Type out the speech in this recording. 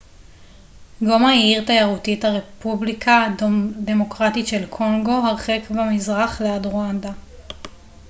גומה היא עיר תיירותית הרפובליקה הדמוקרטית של קונגו הרחק במזרח ליד רואנדה